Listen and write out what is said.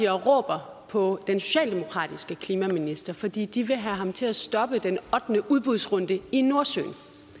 råber på den socialdemokratiske klimaminister fordi de vil have ham til at stoppe den ottende udbudsrunde i nordsøen